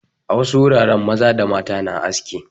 A wasu wuraren maza da mata na aski.